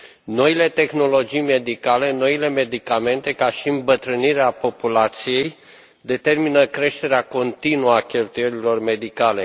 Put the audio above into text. Noile tehnologii medicale, noile medicamente, precum și îmbătrânirea populației determină creșterea continuă a cheltuielilor medicale.